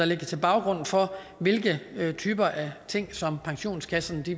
ligger til baggrund for hvilke typer ting som pensionskasserne